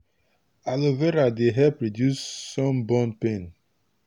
aloe vera dey help reduce sunburn pain.